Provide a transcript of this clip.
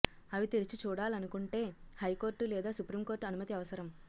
అవి తెరిచి చూడాలనుకొంటే హైకోర్టు లేదా సుప్రీంకోర్టు అనుమతి అవసరం